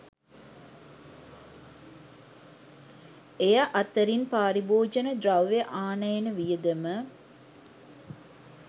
එය අතරින් පාරිභෝජන ද්‍රව්‍ය ආනයන වියදම